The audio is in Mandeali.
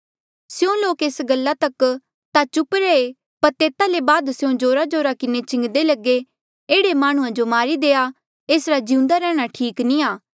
स्यों लोक एस गल्ला तक ता चुप रहे पर तेता ले बाद स्यों जोराजोरा किन्हें चिलान्दे लगे एह्ड़े माह्णुंआं जो मारी देआ एसरा जीउन्दा रैंहणां ठीक नी आ